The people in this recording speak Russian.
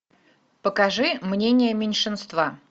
покажи мнение меньшинства